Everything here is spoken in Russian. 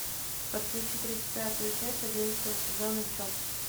подключи тридцать пятую часть одиннадцатого сезона чоп